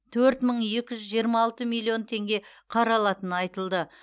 төрт мың екі жүз жиырма алты миллион теңге қаралатыны айтылды